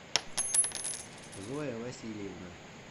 зоя васильевна